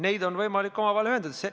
Neid on võimalik omavahel ühendada.